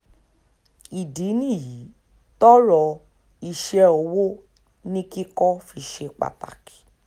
ìdí nìyí tọ́rọ̀ iṣẹ́ ọwọ́ ni kíkọ fi ṣe pàtàkì